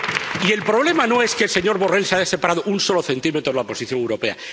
Y el problema no es que el señor Borrell se haya separado un solo centímetro de la posición europea.